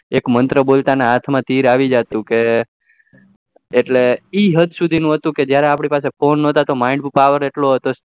એક મંત્ર બોલ તા ને હાથ માં તિર આવી જતું કે એ હદ સુધી નું હતું કે જયારે આપડા પાસે ફોન નતો mind power ને ઉપર એટલો હતો